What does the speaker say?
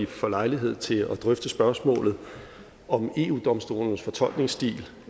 får lejlighed til at drøfte spørgsmålet om eu domstolens fortolkningsstil